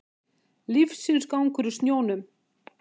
Lífsins gangur í snjónum